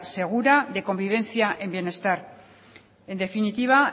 segura de convivencia en bienestar en definitiva